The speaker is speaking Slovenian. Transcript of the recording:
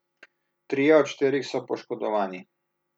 Trije od štirih so poškodovani.